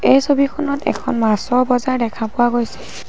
এই ছবিখনত এখন মাছৰ বজাৰ দেখা পোৱা গৈছে।